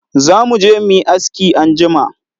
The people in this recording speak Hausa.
Za mu je mu yi aski anjima.